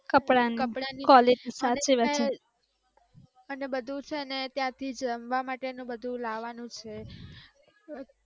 અને બધુ છે ને ત્યાંથી જમવા માટેનુ બધુ લાવાનુ છે.